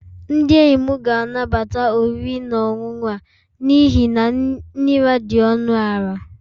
Ndị enyi m ga-anabata oriri na ọṅụṅụ a n'ihi na nri ha dị ọnụ ala